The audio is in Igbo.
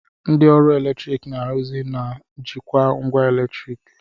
Ndị ọrụ eletrik na-arụzi ma jikwaa ngwa eletriki